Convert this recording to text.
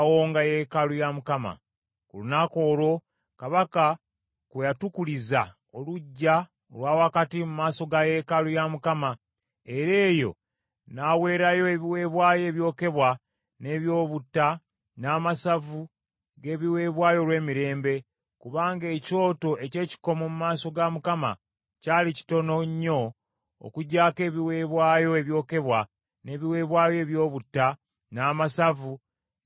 Ku lunaku olwo Kabaka kwe yatukuliza oluggya olwa wakati mu maaso ga yeekaalu ya Mukama , era eyo n’aweerayo ebiweebwayo ebyokebwa, n’eby’obutta, n’amasavu g’ebiweebwayo olw’emirembe, kubanga ekyoto eky’ekikomo mu maaso ga Mukama kyali kitono nnyo okugyaako ebiweebwayo ebyokebwa, n’ebiweebwayo eby’obutta, n’amasavu g’ebiweebwayo olw’emirembe.